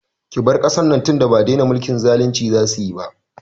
Ki bar kasar nan tinda ba dena mulkin zalinci za su yi ba!